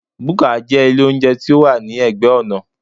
Búkà jẹ́ ilé óúnjẹ tí ó wà ní ẹ̀gbẹ́ ọ̀nà